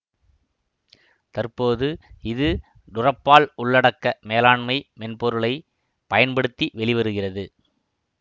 தற்போது இது டுரப்பால் உள்ளடக்க மேலாண்மை மென்பொருளை பயன்படுத்தி வெளிவருகிறது